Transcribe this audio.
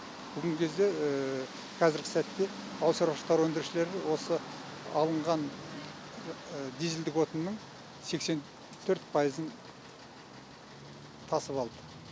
бүгінгі кезде қазіргі сәтте ауыл шаруашылықтар өндірушілер осы алынған дизельдік отынның сексен төрт пайызын тасып алды